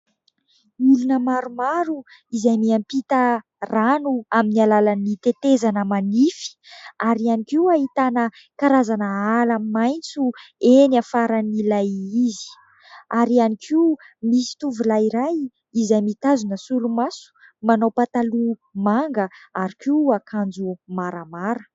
Olona maromaro izay miampita rano amin'ny alalan'ny tetezana manify ary ihany koa ahitana karazana ala maitso eny afaran' ilay izy ary ihany koa misy tovolahy iray izay mitazona solomaso, manao pataloha manga ary koa akanjo maramara.